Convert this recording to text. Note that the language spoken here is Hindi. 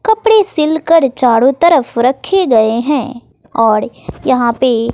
कपड़े सिलकर चारो तरफ रखे गए हैं औड़ यहां पे --